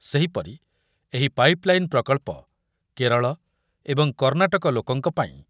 ସେହିପରି ଏହି ପାଇପଲାଇନ ପ୍ରକଳ୍ପ କେରଳ ଏବଂ କର୍ଣ୍ଣାଟକ ଲୋକଙ୍କ ପାଇଁ